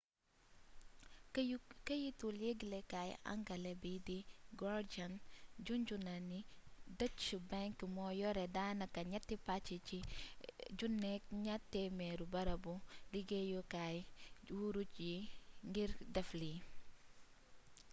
këyitu yëglekay angale bi di guardian juñjuna ne deutsche bank mo yore danaka nietti pac ci 1200 barabu liggeeyukay wuruj yi ngir def li